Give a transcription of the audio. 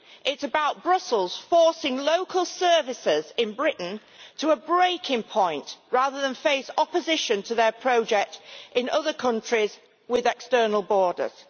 It is about Brussels forcing local services in Britain to a breaking point rather than face opposition to their project in other countries with external borders.